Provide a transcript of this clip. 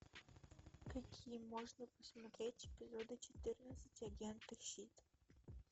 какие можно посмотреть эпизоды четырнадцать агента щит